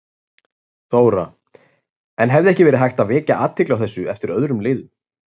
Þóra: En hefði ekki verið hægt að vekja athygli á þessu eftir öðrum leiðum?